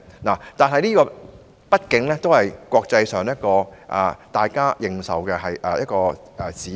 不過，它畢竟是在國際上具認受性的指標。